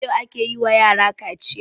Yau ake yin wa yarakaciya